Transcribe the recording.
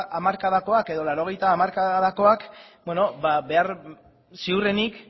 hamarkadakoak eta laurogeita hamar hamarkadakoak bueno ziurrenik